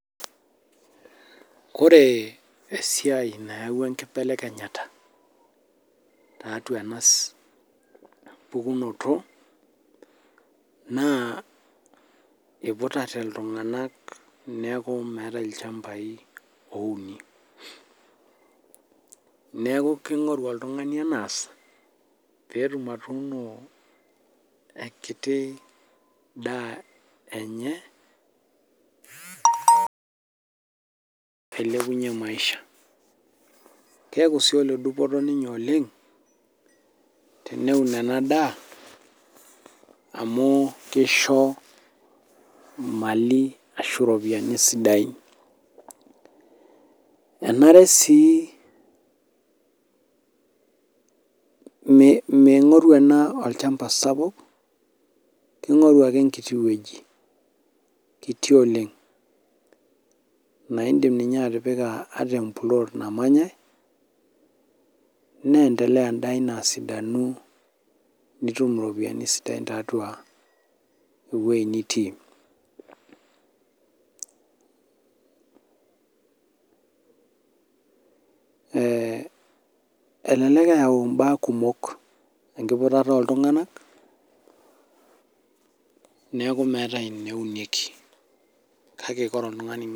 ore esiai nayawua enkibelekenyata tiatua ena pukunoto naa iputate iltung'anak naa metae ilchambai louni neeku king'oru oltng'ani enaas pee etum atuuno enkiti daa enye pee ilepunye maisha, keeku sii ole dupoto ninye oleng' teneun ena daa, amu kisho ena daa ashu ketum imali sidain, enare sii ming'oru ena olchamba sapuk king'oru ake enkiti weji, kiti oleng na idim ninye atipika ata empuloot namanyae naa igil ake anya edaa ino esidai, nitum iropiyiani inonok sidain tiatua eweji nitii, ee elellek eyau ibaa kumok enkiputata ooltung'anak neeku meetae eneunieki.